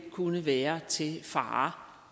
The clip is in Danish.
kunne være til fare